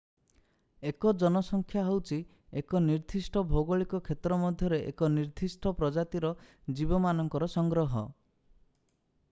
ଏକ ଜନସଂଖ୍ୟା ହେଉଛି ଏକ ନିର୍ଦ୍ଦିଷ୍ଟ ଭୌଗଳିକ କ୍ଷେତ୍ର ମଧ୍ୟରେ ଏକ ନିର୍ଦ୍ଦିଷ୍ଟ ପ୍ରଜାତିର ଜୀବମାନଙ୍କର ସଂଗ୍ରହ